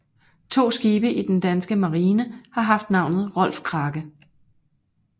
To skibe i den danske Marine har haft navnet Rolf Krake